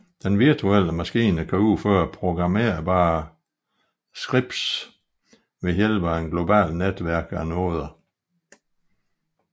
Den virtuelle maskine kan udføre programmerbare scripts ved hjælp af et globalt netværk af noder